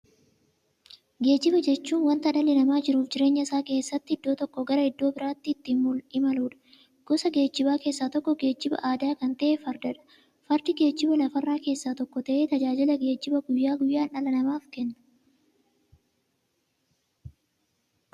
Geejjiba jechuun wanta dhalli namaa jiruuf jireenya isaa keessatti iddoo tokkoo gara iddoo birootti ittiin imaluudha. Gosa geejjibaa keessaa tokko geejjibaa aadaa kan ta'e Fardadha. Fardi geejjibaa lafarraa keessaa tokko ta'ee, tajaajila geejjibaa guyyaa guyyaan dhala namaaf kenna.